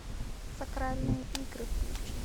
сакральные игры включи